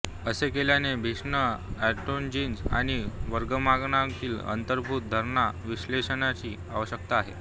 असे केल्याने भिन्न ऑन्टोलॉजीज आणि वर्गीकरणांमागील अंतर्भूत धारणा विश्लेषणाची आवश्यकता आहे